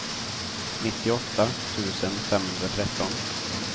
nittioåtta tusen femhundratretton